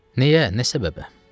Nəyə, nə səbəbə?